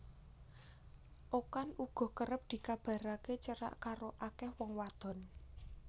Okan uga kerep dikabaraké cerak karo akéh wong wadon